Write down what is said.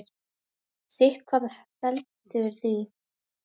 Sitthvað veldur því.